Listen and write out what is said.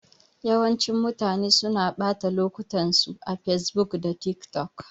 Yawancin mutanen suna ɓata lokutan su a facebook da tik tok